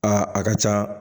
Aa a ka ca